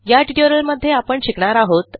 या ट्युटोरियलमध्ये आपण शिकणार आहोत